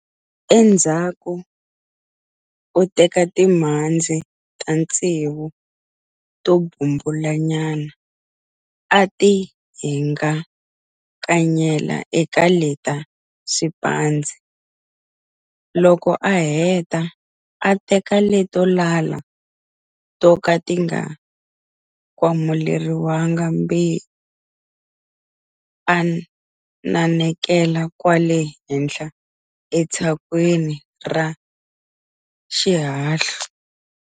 Endzhaku u teka timhandzi ta ntsevu to bumbula nyana a ti hingakanyela eka leta swiphandzi, loko a heta a teka leto lala to ka ti nga kwamuleriwangi byewu a nanekela kwale henhla etshakweni ra xihahlu.